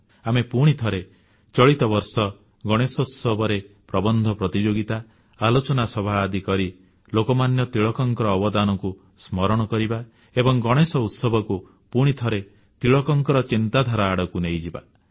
ଆମେ ପୁଣିଥରେ ଚଳିତ ବର୍ଷ ଗଣେଶୋତ୍ସବରେ ପ୍ରବନ୍ଧ ପ୍ରତିଯୋଗିତା ଆଲୋଚନା ସଭା ଆଦି କରି ଲୋକମାନ୍ୟ ତିଳକଙ୍କ ଅବଦାନକୁ ସ୍ମରଣ କରିବା ଏବଂ ଗଣେଶ ଉତ୍ସବକୁ ପୁଣିଥରେ ତିଳକଙ୍କ ଚିନ୍ତାଧାରା ଆଡ଼କୁ ନେଇଯିବା